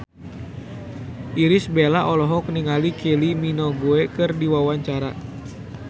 Irish Bella olohok ningali Kylie Minogue keur diwawancara